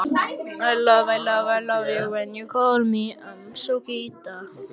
Pabbi ræskti sig en sagði svo